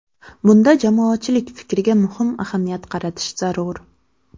Bunda jamoatchilik fikriga muhim ahamiyat qaratish zarur.